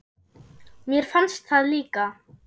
Mér fannst það líka.